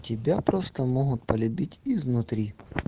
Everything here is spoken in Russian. тебя просто могут полюбить изнутри